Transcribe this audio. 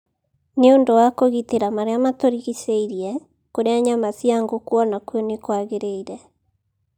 Nĩ ũndũ wa kũgitĩra maria maturingicheirie, kũrĩa nyama cia ngũkũ o nakuo nĩ kwagĩrĩire.